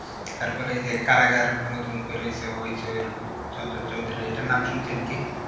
তারপর এই যে কারাগার নতুন বেরিয়েছে হইচই এ চঞ্চল চৌধুরীর এইটার নাম শুনছেন কি?